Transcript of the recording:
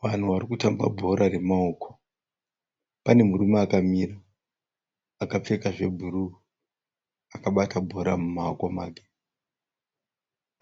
Vanhu varikutamba bhora remaoko. Pane murume akamira akapfeka zvebhuruwu akabata bhora mumaoko make.